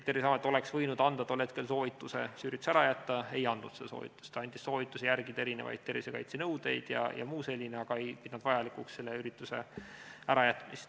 Terviseamet oleks võinud anda tol hetkel soovituse see üritus ära jätta, aga ei andnud seda soovitust, ta andis soovituse järgida tervisekaitsenõudeid jms, aga ei pidanud vajalikuks selle ürituse ärajätmist.